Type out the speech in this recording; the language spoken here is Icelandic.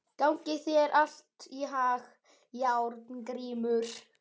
Gangi þér allt í haginn, Járngrímur.